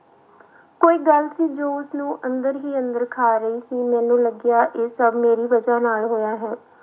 ਕੋਈ ਗੱਲ ਸੀ ਜੋ ਉਸਨੂੰ ਅੰਦਰ ਹੀ ਅੰਦਰ ਖਾ ਰਹੀ ਸੀ, ਮੈਨੂੰ ਲੱਗਿਆ ਇਹ ਸਭ ਮੇਰੀ ਵਜ੍ਹਾ ਨਾਲ ਹੋਇਆ ਹੈ।